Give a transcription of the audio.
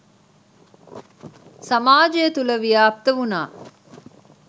සමාජය තුළ ව්‍යාප්ත වුණා.